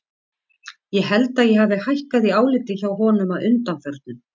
Ég held að ég hafi hækkað í áliti hjá honum að undanförnu.